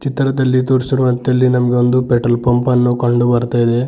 ಚಿತ್ರದಲ್ಲಿ ತೋರಿಸಿರುವಂತೆ ಇಲ್ಲಿ ನಮಗೆ ಒಂದು ಪೆಟ್ರೋಲ್ ಪಂಪ್ ಅನ್ನು ಕಂಡು ಬರ್ತಾ ಇದೆ.